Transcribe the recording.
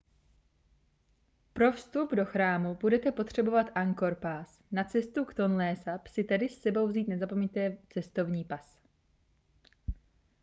pro vstup do chrámu budete potřebovat angkor pass na cestu k tonlésap si tedy s sebou vzít nezapomeňte vzít cestovní pas